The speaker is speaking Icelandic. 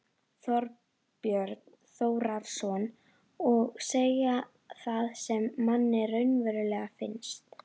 Þorbjörn Þórðarson: Og segja það sem manni raunverulega finnst?